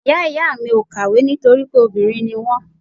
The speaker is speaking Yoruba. Ìyá ìyá mi ò kàwé nítorí pé obìnrin ni wọ́n.